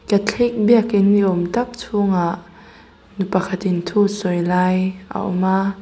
katholik biakin ni awm tak chhungah nu pakhatin thu sawi lai a awm a.